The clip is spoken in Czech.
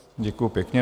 Děkuji pěkně.